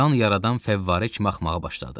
Qan yaradan fəvvarə kimi axmağa başladı.